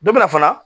Dɔ bɛna fana